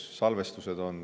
On ka salvestused.